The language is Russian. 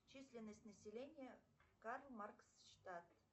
численность населения карл маркс штат